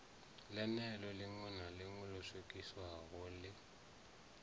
ḽeneḽo ḽiṋwalo ḽo swikiswaho ḽi